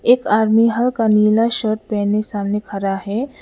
एक आदमी हल्का नीला शर्ट पहने सामने खरा है।